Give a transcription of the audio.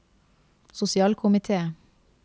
sosialkomite